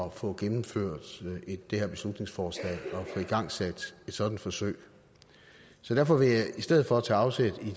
at få gennemført det her beslutningsforslag og få igangsat et sådant forsøg så derfor vil jeg i stedet for tage afsæt